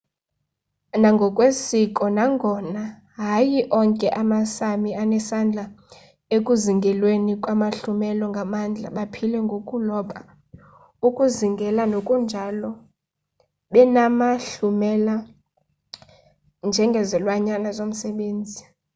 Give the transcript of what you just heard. nangokwesiko nangona hayi onke ama-sámi anesandla ekuzingelweni kwamahlumela ngamandla baphile ngokuloba ukuzingela nokunjalo benamahlumela njengezilwanyane zomsebenzi